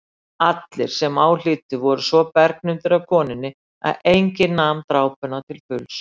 Allir sem á hlýddu voru svo bergnumdir af konunni að enginn nam drápuna til fulls.